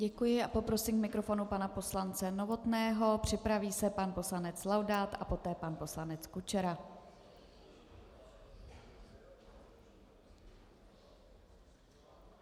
Děkuji a poprosím k mikrofonu pana poslance Novotného, připraví se pan poslanec Laudát a poté pan poslanec Kučera.